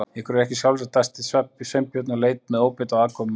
Ykkur er ekki sjálfrátt- dæsti Sveinbjörn og leit með óbeit á aðkomumanninn.